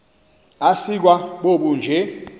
asikwa bobu bunje